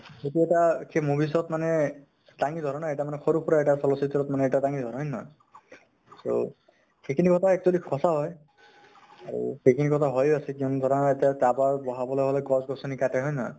সেইতো এটা খেই movies ত মানে ডাঙি ধৰা না । এটা মানে সৰু সুৰা চলচিত্ৰ এটা ত মানে ডাঙি ধৰে হয় নে নহয় ? so, সেইখিনি কথা actually সচাঁ হয় । আৰু সেইখিনি কথা হৈও আছে। কিমান ধৰা এতিয়া towerবঢ়াবলৈ হʼলে গছ গছনি কাটে, হয় ন্হয় ?